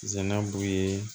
Zanabu ye